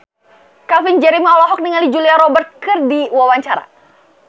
Calvin Jeremy olohok ningali Julia Robert keur diwawancara